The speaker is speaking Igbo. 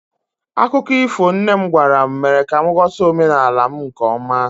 akụkọ ifo nne m gwara m mere ka m ghọta omenala m nke ọma